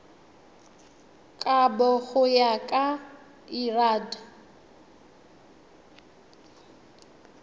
kabo go ya ka lrad